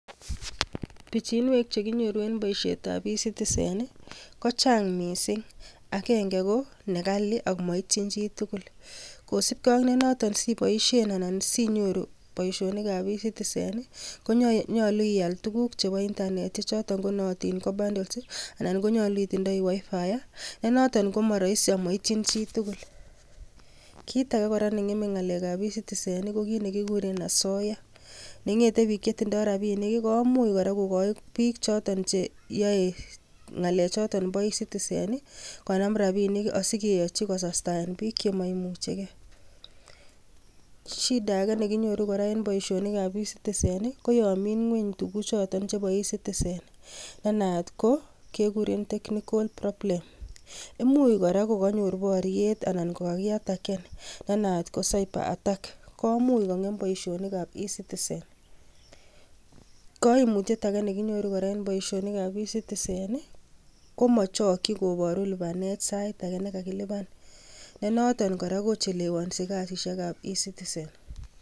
Pichinwek chekinyoru en boisietab eCitizen kochang missing agenge ko nekali ak moityin chitugul. Kosibgee ak noton siboisien anan sinyoru boisionikab eCitizen ih konyolu ial tukuk chebo internet ih choton konootin ko bundles ih anan ko nyolu itindoi WIi-Fi nenoton komoroisi amoityin chitugul. Kit ake kora neng'eme ngalekab eCitizen ih ko kit nekikuren asoya nengete biik chetindoo rapinik ih komuch kora kokoi biik choton cheyoe ngalek choton bo eCitizen ih konam rapinik ih asikeyochi kosastaen biik chemoimuchegee. Shida ake nekinyoru kora en boisionikab eCitizen ko yon mii ngweny tukuk choton chebo eCitizen ne naat ko kekuren technical problem imuch kora kokanyor boryet anan ko kakiataken ne naat ko cyber attack komuch ko ng'em boisionikab eCitizen. Koimutyet ake nekinyoru en boisionikab eCitizen komochokyin koboru lipanet sait ake nekakilipan nenoton kora kochelewonsi kasisiekab ecitizen